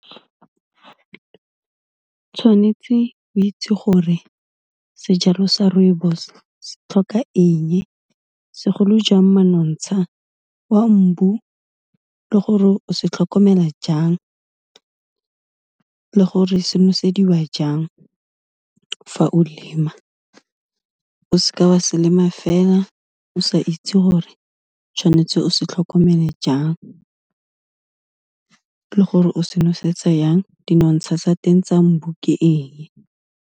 tshwanetse o itse gore sejalo sa rooibos se tlhoka eng e, segolo jang manontsha wa mbu le gore o se tlhokomela jang, le gore se nosediwa jang fa o lema, o seke wa se lema fela o sa itse gore tshwanetse o sa tlhokomele jang, le gore o se nosetsa yang, dinotsha tsa teng tsa mbu ke eng.